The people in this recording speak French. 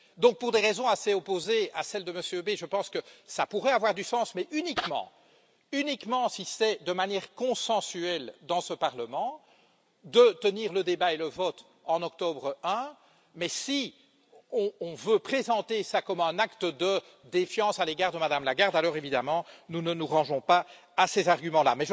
Donc, pour des raisons assez opposées à celles de monsieur Bay, je pense que ça pourrait avoir du sens mais uniquement, uniquement si c'est de manière consensuelle dans ce Parlement de tenir le débat et le vote en octobre I, mais si on veut présenter ça comme un acte de défiance à l'égard de Mme Lagarde, alors évidemment, nous ne nous rangeons pas à ces arguments là.